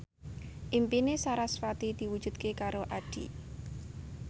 impine sarasvati diwujudke karo Addie